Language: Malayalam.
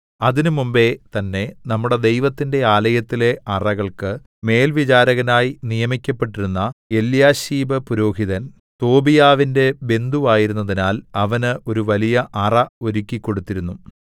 അതിന് മുമ്പെ തന്നെ നമ്മുടെ ദൈവത്തിന്റെ ആലയത്തിലെ അറകൾക്ക് മേൽവിചാരകനായി നിയമിക്കപ്പെട്ടിരുന്ന എല്യാശീബ് പുരോഹിതൻ തോബീയാവിന്റെ ബന്ധുവായിരുന്നതിനാൽ അവന് ഒരു വലിയ അറ ഒരുക്കിക്കൊടുത്തിരുന്നു